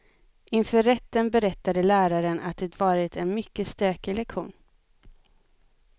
Inför rätten berättade läraren att det varit en mycket stökig lektion.